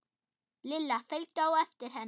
Lilla fylgdu á eftir henni.